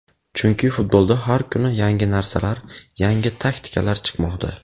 Chunki futbolda har kuni yangi narsalar, yangi taktikalar chiqmoqda.